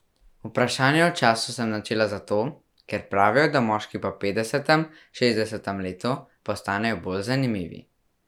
Vprašanje o času sem načela zato, ker pravijo, da moški po petdesetem, šestdesetem letu postanejo bolj zanimivi.